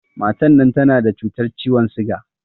Matan nan tana da cutar ciwon siga